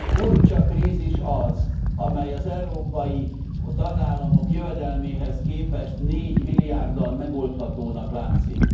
Furcsa krízis az, amely az európai tagállamok jövedelméhez képest négymilliárddal megoldhatónak látszik.